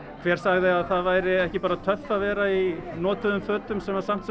hver sagði að það væri ekki bara töff að vera í notuðum fötum sem samt